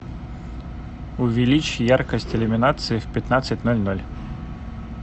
увеличь яркость иллюминации в пятнадцать ноль ноль